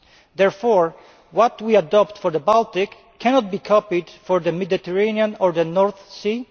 Therefore what we adopt for the Baltic cannot be copied for the Mediterranean or the North Sea.